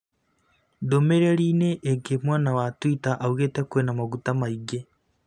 Ndũmĩrĩri inĩ ĩngĩ mwena wa twita augĩte kwĩna maguta maingĩ